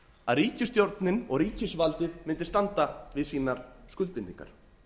að ríkisstjórnin og ríkisvaldið mundi standa við sínar skuldbindingar